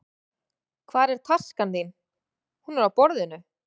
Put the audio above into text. Hvar er taskan þín? Hún er á borðinu.